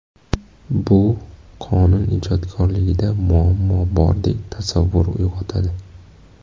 Bu qonun ijodkorligida muammo bordek tasavvur uyg‘otadi.